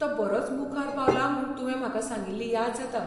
तो बरोच मुखार पावला म्हूण तुवें म्हाका सांगिल्ली याद जाता.